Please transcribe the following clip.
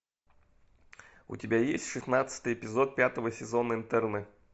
у тебя есть шестнадцатый эпизод пятого сезона интерны